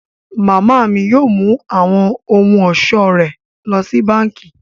Mama mi yóò mú awọn ohun-ọṣọ rẹ lọ sí bánkì.